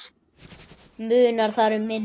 Munar þar um minna.